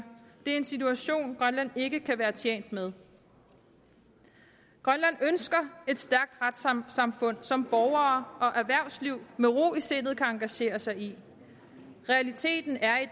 det er en situation grønland ikke kan være tjent med grønland ønsker et stærkt retssamfund som borgere og erhvervsliv med ro i sindet kan engagere sig i realiteten er i